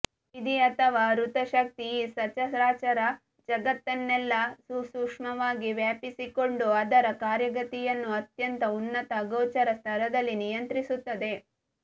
ವಿಧಿ ಅಥವಾ ಋತಶಕ್ತಿ ಈ ಸಚರಾಚರ ಜಗತ್ತನ್ನೆಲ್ಲ ಸುಸೂಕ್ಷ್ಮವಾಗಿ ವ್ಯಾಪಿಸಿಕೊಂಡು ಅದರ ಕಾರ್ಯಗತಿಯನ್ನು ಅತ್ಯಂತ ಉನ್ನತ ಅಗೋಚರ ಸ್ತರದಲ್ಲಿ ನಿಯಂತ್ರಿಸುತ್ತದೆ